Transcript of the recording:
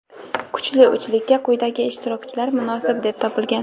kuchli uchlikka quyidagi ishtirokchilar munosib deb topilgan:.